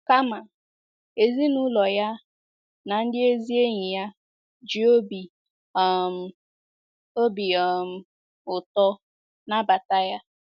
Kama, ezinaụlọ ya na ndị ezi enyi ya ji obi um obi um ụtọ nabata ya.